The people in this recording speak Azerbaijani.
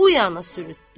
Bu yana sürtdü.